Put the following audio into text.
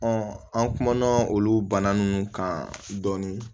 an kumana olu bana nunnu kan dɔɔnin